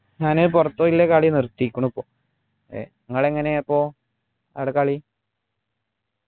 ഞാന് പുറത്തു പോയുള്ള കാളി നിർത്തിയേക്കുണു ഏർ നിങ്ങളെങ്ങനെയാ ഇപ്പൊ ആട കളി